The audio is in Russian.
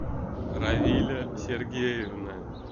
равиля сергеевна